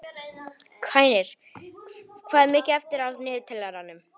Hænir, hvað er mikið eftir af niðurteljaranum?